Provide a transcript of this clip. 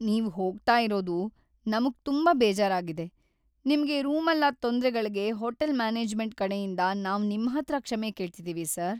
ನೀವ್‌ ಹೋಗ್ತಾ ಇರೋದು ನಮ್ಗ್ ತುಂಬಾ ಬೇಜಾರಾಗಿದೆ, ನಿಮ್ಗೆ ರೂಮಲ್ಲಾದ್‌ ತೊಂದ್ರೆಗಳ್ಗೆ ಹೋಟೆಲ್ ಮ್ಯಾನೇಜ್ಮೆಂಟ್ ಕಡೆಯಿಂದ ನಾವ್‌ ನಿಮ್ಹತ್ರ ಕ್ಷಮೆ ಕೇಳ್ತಿದೀವಿ ಸರ್.